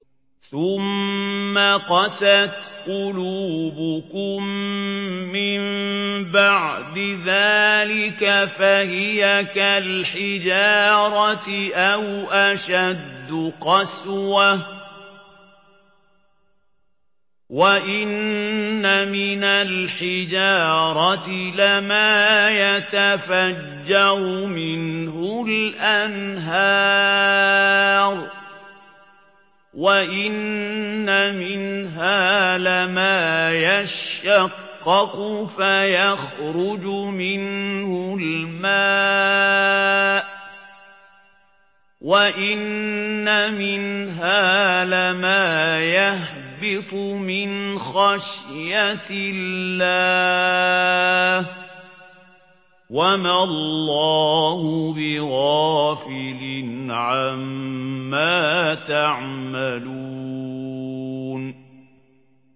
ثُمَّ قَسَتْ قُلُوبُكُم مِّن بَعْدِ ذَٰلِكَ فَهِيَ كَالْحِجَارَةِ أَوْ أَشَدُّ قَسْوَةً ۚ وَإِنَّ مِنَ الْحِجَارَةِ لَمَا يَتَفَجَّرُ مِنْهُ الْأَنْهَارُ ۚ وَإِنَّ مِنْهَا لَمَا يَشَّقَّقُ فَيَخْرُجُ مِنْهُ الْمَاءُ ۚ وَإِنَّ مِنْهَا لَمَا يَهْبِطُ مِنْ خَشْيَةِ اللَّهِ ۗ وَمَا اللَّهُ بِغَافِلٍ عَمَّا تَعْمَلُونَ